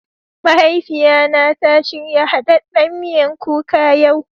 Mahaifiyan na ta shirya haɗɗen miyan kuka yau.